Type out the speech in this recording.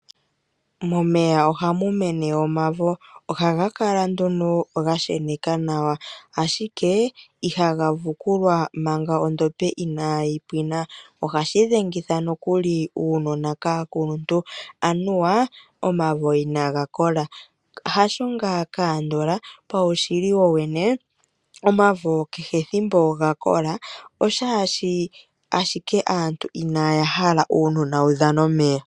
Omavo oha ga mene momeya, noha ga kala ga she neka nawa, ashike iha ga vukulwa manga ondombe inayi pwina nomolundji oha ga dhengitha aanona moku ya kelela ka ya dhane omeya.